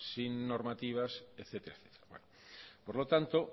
sin normativas etcétera etcétera por lo tanto